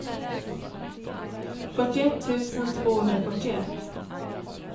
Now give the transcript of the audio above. fyrtioett tusen tvåhundrafyrtioett